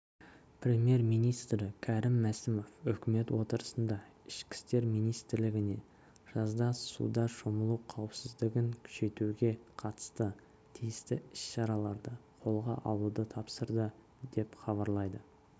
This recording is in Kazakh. премьер-министрі кәрім мәсімов үкімет отырысында ішкі істер министрлігіне жазда суда шомылу қауіпсіздігін күшейтуге қатысты тиісті іс-шараларды қолға алуды тапсырды деп хабарлайды